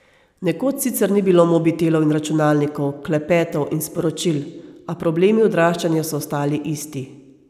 Nekoč sicer ni bilo mobitelov in računalnikov, klepetov in sporočil, a problemi odraščanja so ostali isti.